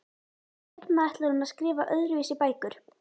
Seinna ætlar hún að skrifa öðruvísi bækur.